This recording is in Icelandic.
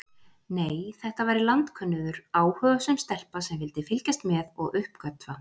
Nei, þetta væri landkönnuður, áhugasöm stelpa sem vildi fylgjast með og uppgötva.